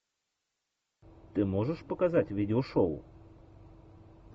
ты можешь показать видео шоу